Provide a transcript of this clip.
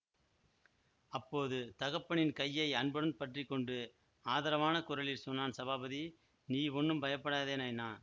அப்போது தகப்பனின் கையை அன்புடன் பற்றி கொண்டு ஆதரவான குரலில் சொன்னான் சபாபதி நீ ஒண்ணும் பயப்படாதே நைனா